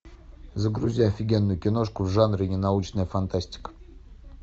загрузи офигенную киношку в жанре ненаучная фантастика